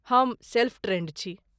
हम self trained छी।